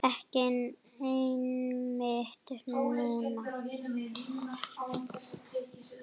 Ekki einmitt núna.